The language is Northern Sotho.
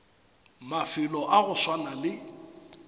mafelo a go swana le